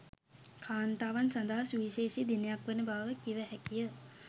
කාන්තාවන් සඳහා සුවිශේෂී දිනයක් වන බව කිව හැකි ය